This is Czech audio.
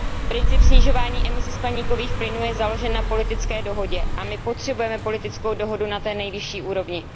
Princip snižování emisí skleníkových plynů je založen na politické dohodě a my potřebujeme politickou dohodu na té nejvyšší úrovni.